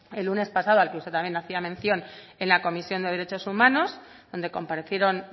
el lunes pasado al que usted también hacía mención en la comisión de derechos humanos donde comparecieron